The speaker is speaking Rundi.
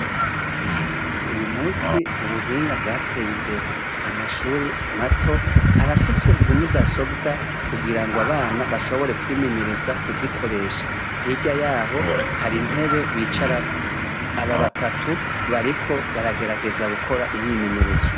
Uyu musi ubuhinga bwarateye imbere. Amashure mato, arafise zi mudasobwa, ugira ngo abana bashobore kwimenyereza kuzikoresha. Hirya yaho, hari intebe bicarako. Aba batatu, bariko baragerageza gukora imyimenyerezo.